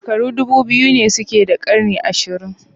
Shekaru ɗubu biyu kuma daidai suke da ƙarni ashirin